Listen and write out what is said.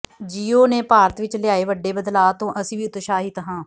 JIO ਨੇ ਭਾਰਤ ਵਿਚ ਲਿਆਏ ਵੱਡੇ ਬਦਲਾਅ ਤੋਂ ਅਸੀਂ ਵੀ ਉਤਸ਼ਾਹਿਤ ਹਾਂ